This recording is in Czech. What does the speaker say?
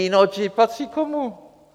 Innogy patří komu?